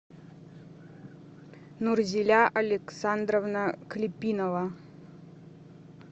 нурзеля александровна клепинова